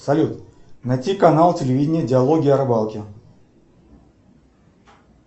салют найти канал телевидения диалоги о рыбалке